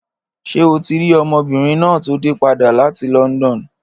Ṣé o ti rí ọmọbìnrin náà tó dé padà láti London?